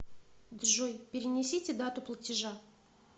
джой перенесите дату платежа